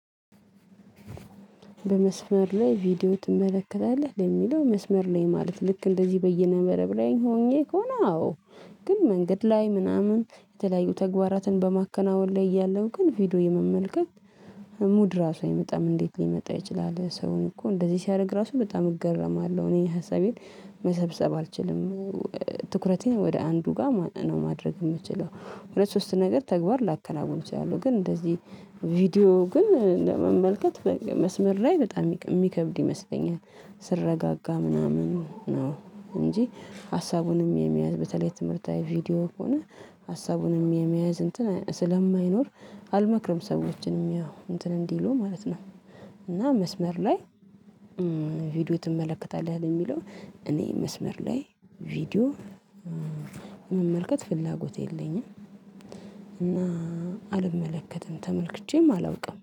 በመስመር ላይ ቪዲዮ ትመለከታለህ ለሚለው መስመር ላይ ማለት ልክ እንደዚህ በይነመረብ ሆኜ ከሆነ አዎ ግን መንገድ ላይ ምናምን የተለያዩ ተግባራትን በማከናወን ላይ እያለሁ ግን ቪዲዮ የመመልከት ሙድ ራሱ አይመጣም እንዴት ሊመጣ ይችላል ሰውን እኮ እንደዚህ ሲያደርግ ራሱ በጣም እገረማለሁ እኔ ሀሳቤን መሰብሰብ አልችልም። ትኩረቴን ወደ አንዱ ጋር ነው ማድረግ የምችለው ሁለት ሶስት ነገር ተግባር ላከናውን እችላለሁ ግን እንደዚህ ቪዲዮ ግን ለመመልከት መስመር ላይ በጣም የሚከብድ ይመስለኛል። ስረጋጋ ምናምን ነው እንጂ ሀሳቡንም የሚያዝ በተለይ ትምህርታዊ ቪዲዮ ከሆነ ሀሳቡንም የሚያዝ እንትን ስለማይኖር አልመክርም ሰዎችንም ያው እንትን እንዲሉ ማለት ነው። እና መስመር ላይ ቪዲዮ ትመለከታለህ የሚለው እኔ መስመር ላይ ቪዲዮ መመልከት ፍላጎት የለኝም። እና አልመለከትም ተመልክቼም አላውቅም